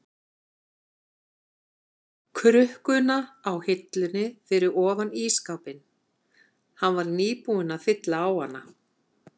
krukkuna á hillunni fyrir ofan ísskápinn, hann var nýbúinn að fylla á hana.